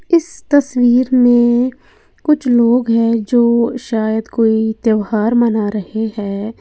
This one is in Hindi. इस तस्वीर में कुछ लोग है जो शायद कोई त्यौहार मना रहे हैं।